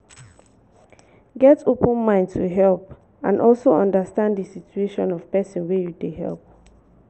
get open mind to help and also understand di situation of person wey you dey help